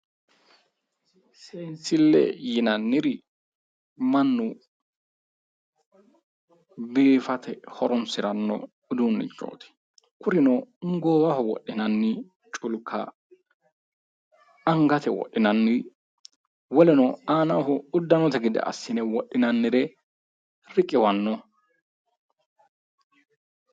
Seensille yinnanniri mannu biifate horonsiranno uduunnichooti kurino goowaho wodhinanni culka angate wodhinanni woleno aanaho uddanote gede assine wodhinannire riqiwanno.